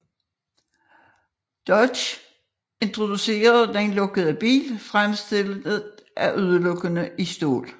Dodge introducerer den lukkede bil fremstillet udelukkende i stål